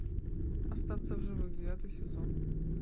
остаться в живых девятый сезон